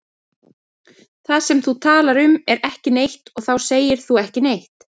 Það sem þú talar um er ekki neitt og þá segir þú ekki neitt.